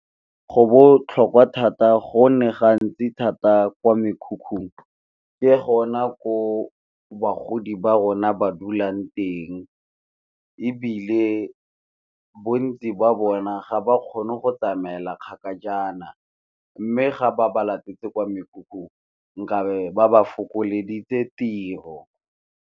Go botlhokwa thata gonne ga ntsi thata kwa mekhukhung, ke gona ko bagodi ba rona ba dulang teng, ebile bontsi jwa bona ga ba kgone go tsamaela kgakajana, mme ga ba ba latetse kwa mekhukhung nkabe ba ba fokoleditse tiro.